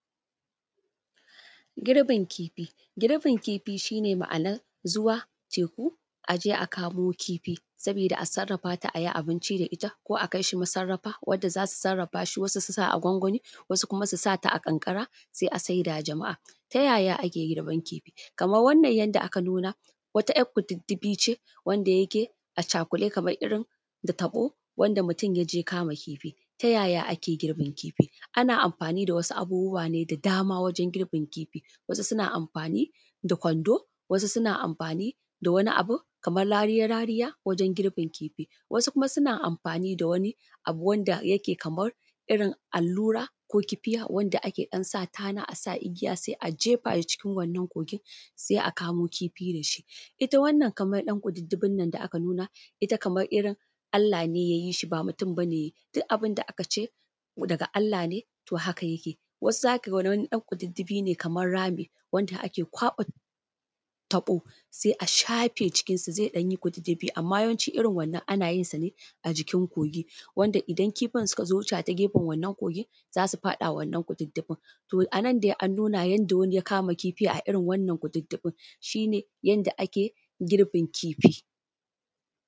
Girbin kifi, girbin kifi shi ne ma’ana zuwa teku a je a kamoo kifi sabiida a sarrafa ta a yi abinci da ita ko a kai shi masarrafa wadda za su sarrafaa shi wasu su sa a gwangwani wasu kuma su sa ta a ƙanƙara sai a saida wa jama’a. Ta ya ya ake girban kifi? Kamar wannan yadda aka nuna wata 'ya kududdufi ce wanda yake a cakuɗe kamar irin da taɓo wanda mutum ya je kama kifi. Ta ya ya ake girbin kifi? Ana amfaani da wasu abubuwa ne da dama wajen girbin kifi, wasu suna amfaani da kwando wasu suna amfaani da wani abin kamar rariya rariya wajen girbin kifi wasu kuma suna amfaani da wani abu wanda yake kamar irin allura ko kifiya wanda ake ɗan sa tana a sa igiya sai a jeefa shi cikin wannan kogin sai a kamo kifi da shi. Ita wannan kamar ɗan kududdufin nan da aka nuna ita kamar irin Allah ne yai shi baa mutum bane yayi, duk abin da aka ce daga Allah ne to haka yake. Wasu za ka ga wani ɗan kududdufi ne kamar rami wanda ake kwaɓa taɓo sai a shafe cikinsa zai ɗan yi kududdufi amma wasu irin wannan ana yinsa ne a jikin kogi wanda idan kifin suka zo wucewa ta gefen wannan kogin za su faɗa wannan kududdufin to anan dai an nuna yadda wani ya kama kifi a irin wannan kududdufin shi ne yadda ake girbin kifi